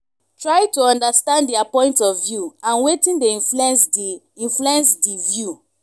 try to understand their point of view and wetin dey influence di influence di view